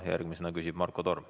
Järgmisena küsib Marko Torm.